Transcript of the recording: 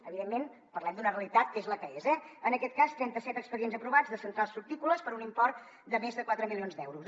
evidentment parlem d’una realitat que és la que és eh en aquest cas trenta set expedients aprovats de centrals fructícoles per un import de més de quatre milions d’euros